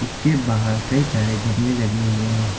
इसके बाहर कई सारे गमले लगे हुए हैं।